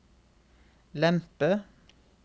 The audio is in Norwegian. lempe